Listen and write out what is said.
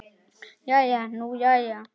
Jæja nú jæja.